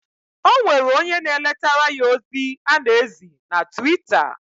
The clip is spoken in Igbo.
Onwere onye na eletara ya ozi ana ezi na Twitter.